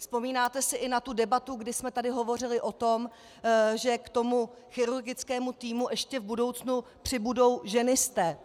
Vzpomínáte si i na tu debatu, kdy jsme tady hovořili o tom, že k tomu chirurgickému týmu ještě v budoucnu přibudou ženisté.